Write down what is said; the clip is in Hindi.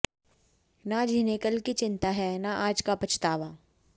न जिन्हें कल की चिंता है न आज का पछतावा